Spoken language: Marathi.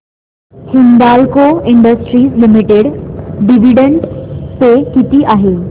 Hindalco industries limited dividend pay किती आहे